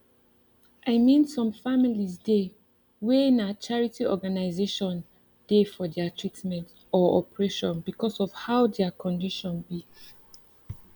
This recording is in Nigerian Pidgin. i mean some families dey wey na charity organisaion dey for deir treatment or operation because of how deir condition be